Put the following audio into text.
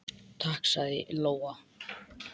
Takk, sagði Lóa.